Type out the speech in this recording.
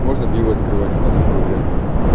можно пиво открывать в носу ковыряться